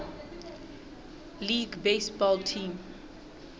league baseball team